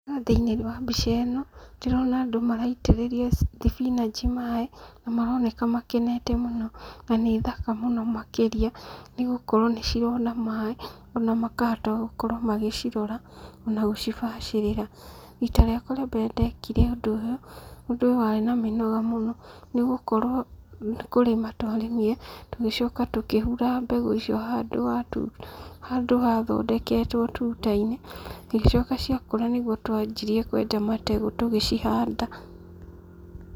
Thĩiniĩ wa mbica ĩno ndĩrona andũ maraitĩrĩria thibinaji maaĩ na maroneka makenete mũno na nĩthaka mũno makĩria, nĩ gũkorũo nĩcirona maaĩ ona makahota gũkorũo magĩcirora na gũcibacĩrĩra, rita rĩakwa rĩa mbere ndekire ũndũ ũyũ, ũndũ ũyũ warĩ na mĩnoga mũno, nĩ gũkorũo nĩkũrĩma twarĩmire tugĩcoka tũkĩhura mbegũ icio handũ hathondeketwo tuta-inĩ, ĩgĩcoka ciakũra nĩguo twambirie kwenja mategũ tũgĩcihanda.